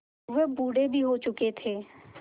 वह बूढ़े भी हो चुके थे